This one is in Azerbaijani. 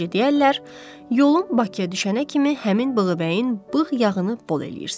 Necə deyərlər, yolun Bakıya düşənə kimi həmin bığı bəyin bığ yağını bol eləyirsən.